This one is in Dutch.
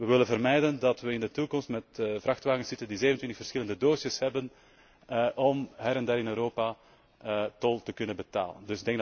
We willen vermijden dat we in de toekomst met vrachtwagens zitten die 27 verschillende doosjes hebben om her en der in Europa tol te kunnen betalen.